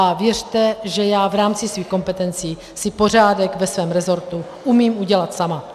A věřte, že já v rámci svých kompetencí si pořádek ve svém rezortu umím udělat sama.